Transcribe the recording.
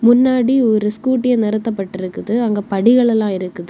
பின்னாடி ஒரு ஸ்கூட்டி நிறுத்தபட்டு இருக்குது அங்க படிகள் எல்லாம் இருக்குது.